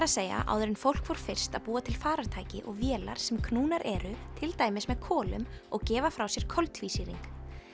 að segja áður en fólk fór fyrst að búa til farartæki og vélar sem knúnar eru til dæmis með kolum og gefa frá sér koltvísýring